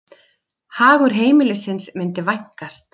Hagur heimilisins myndi vænkast.